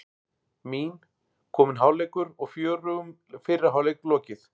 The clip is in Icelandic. Mín: Kominn hálfleikur og fjörugum fyrri hálfleik lokið.